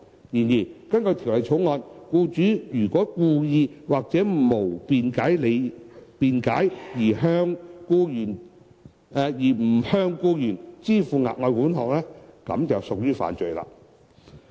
然而，根據《條例草案》，僱主如果故意或無合理辯解而不向僱員支付額外款項，即屬犯罪。